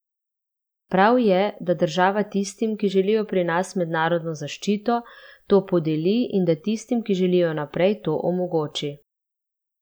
Prav je, da država tistim, ki želijo pri nas mednarodno zaščito, to podeli in da tistim, ki želijo naprej, to omogoči.